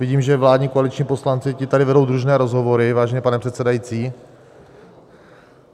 Vidím, že vládní koaliční poslanci tady vedou družné rozhovory, vážený pane předsedající.